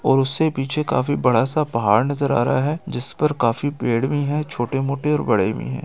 और उससे पीछे काफी बड़ा सा पहाड़ नजर आ रहा है जिस पर काफी पेड़ भी है छोटे-मोटे और बड़े भी है।